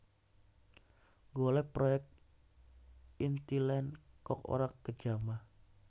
Nggolek proyekan Intiland kok ora kejamah